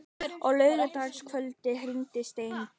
Hann er að sanna sig á hverju stigi.